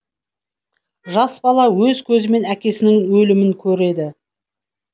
жас бала өз көзімен әкесінің өлімін көреді